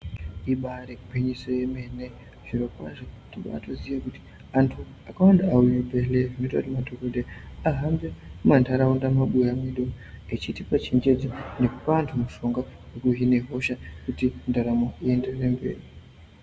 Ibari gwinyiso yemene zviro kwazvo tobatiziye kuti antu akawanda auye bhedhle zvoite kuti madhokodheya ahambe mantaraunda mumabuya mwedu vechitipe chenjedzo nekupe antu mushonga kuti vahine hosha kuti ndaramo ienderere mberi.